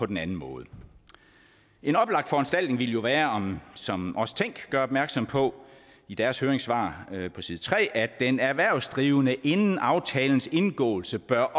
den anden måde en oplagt foranstaltning ville jo være som også forbrugerrådet tænk gør opmærksom på i deres høringssvar på side tre at den erhvervsdrivende inden aftalens indgåelse bør